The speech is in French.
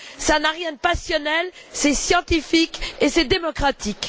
Cela n'a rien de passionnel, c'est scientifique et c'est démocratique.